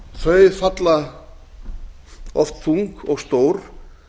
þau falla oft þung og stór